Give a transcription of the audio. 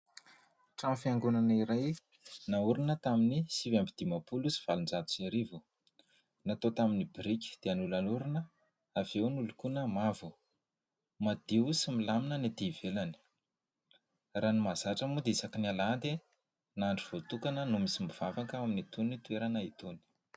Trano fiangonana iray naorina tamin'ny sivy amby dimampolo sy valonjato sy arivo, natao tamin'ny biriky dia nolalorina, avy eo nolokoina mavo. Madio sy milamina ny ety ivelany. Raha ny mahazatra moa dia isaky ny alahady ny andro voatokana misy mivavaka ao amin'itony toerana itony.